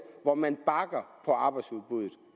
hvor man bakker arbejdsudbuddet